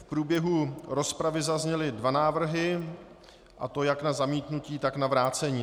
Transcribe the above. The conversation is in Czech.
V průběhu rozpravy zazněly dva návrhy, a to jak na zamítnutí, tak na vrácení.